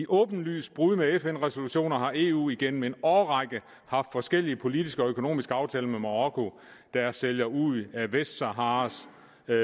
åbenlyse brud på fn resolutioner har eu igennem en årrække haft forskellige politiske og økonomiske aftaler med marokko der sælger ud af vestsaharas